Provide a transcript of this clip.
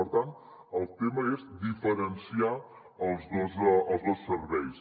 per tant el tema és diferenciar els dos serveis